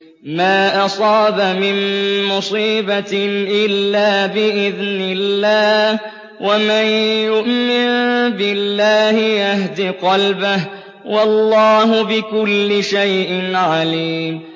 مَا أَصَابَ مِن مُّصِيبَةٍ إِلَّا بِإِذْنِ اللَّهِ ۗ وَمَن يُؤْمِن بِاللَّهِ يَهْدِ قَلْبَهُ ۚ وَاللَّهُ بِكُلِّ شَيْءٍ عَلِيمٌ